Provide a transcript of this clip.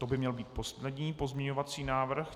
To by měl být poslední pozměňovací návrh.